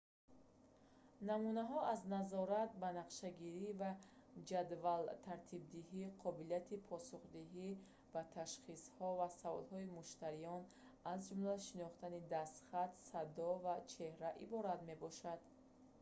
намунаҳо аз назорат банақшагирӣ ва ҷадвалтартибдиҳӣ қобилияти посухдиҳӣ ба ташхисҳо ва саволҳои муштариён аз ҷумла шинохтани дастхат садо ва чеҳра иборат мебошанд